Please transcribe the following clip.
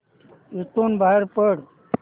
इथून बाहेर पड